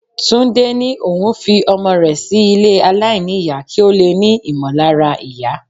Túndé ní òun fi ọmọ rẹ sí ilé aláìníyà kí ó lè ní ìmọ̀lára ìyá.